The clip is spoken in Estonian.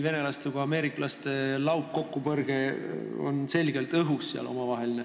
Venelaste ja ameeriklaste laupkokkupõrge on selgelt õhus.